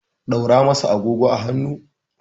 ɗaura masa agogo a hannu!